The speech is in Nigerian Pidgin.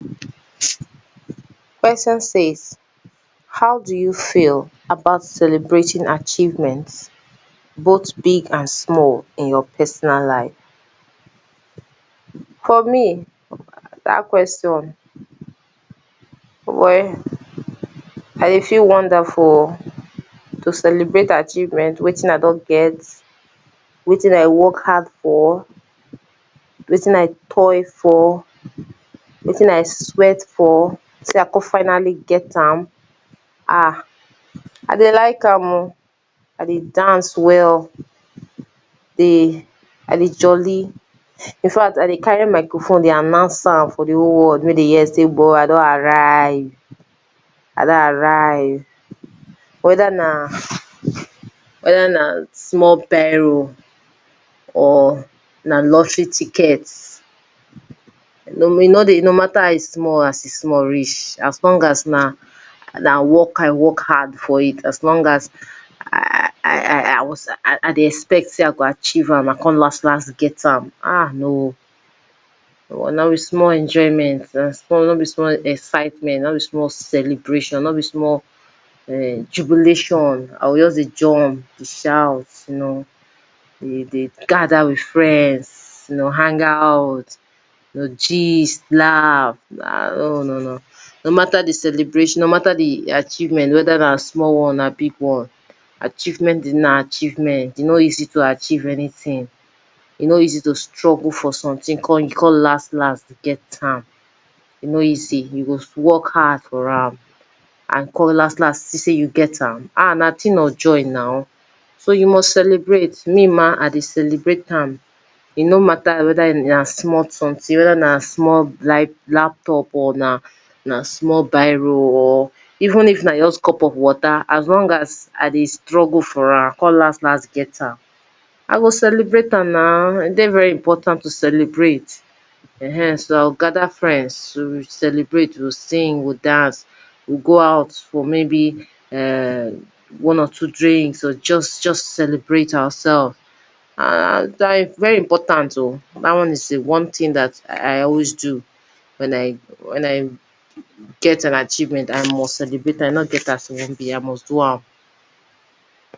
Question say how do you fell about celebrating achievement both big and small in your personal life, for me d at question well I dey fell wonder for to celebrate achievement wetin I don get wetin I work hard for wetin I toil for wetin I sweat for say I con finally get am ah I go like am oh, I dey dance well dey I dey jolly in fa c t I dey carry microphone dey announces am for di w hole world make dem hear say boy I don arrive I don arrive where na where na small biro or na lottery ticket e no dey no matter as e small e small reach as long as na work I work hard for it as long as I I i i was I dey expect I go achieve am I come last, last get am ah no no be small enjoyment na no be small excitement no be small celebration no be small [urn] jubilation I go jut dey jump dey shout you no dey gather with friends dey hang out you no gist laugh ah no no no no matter di celebration no matter di achievement whether na small one or big one achievement na achievement e no easy to achievement anything e no easy to struggle for something come come y ou come last last get am even you go for hard for am and you come last last see say you get am ah na thing of joy so you must celebrate me ma I dey celebrate am e no matter whether na small something whether na small laptop or na small biro or even if na just cup of water as long as I dey struggle for am I come last last get am I celebrate am na e dey very important to celebrate so I go gather friends to celebrate we go dance sing we go out or may be [urn] one or two drinks or just celebrate ourselves an dine very important dat one is di one thing I always do when I when I get an achievement I must celebrate am e no get as e wan be I must do am